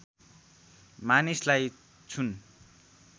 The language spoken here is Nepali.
मानिसलाई छुन